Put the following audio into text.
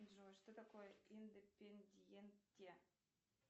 джой что такое индепендьенте